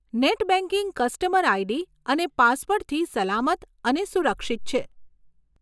Net banking customer ID અને પાસવર્ડથી સલામત અને સુરક્ષિત છે.